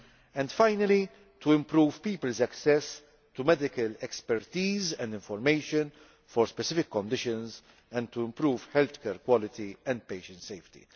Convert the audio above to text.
and finally, to improve people's access to medical expertise and information for specific conditions, and to improve healthcare quality and patient safety.